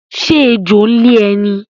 Ṣé ẹjọ́ ń lé ẹ ní?